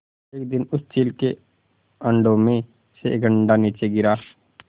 एक दिन उस चील के अंडों में से एक अंडा नीचे गिरा